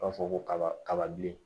U b'a fɔ ko kaba kababilen